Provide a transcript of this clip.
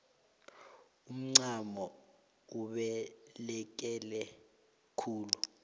umncamo ubaluleke khulu